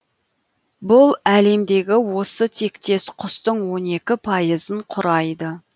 бұл әлемдегі осы тектес құстың он екі пайызын құрайды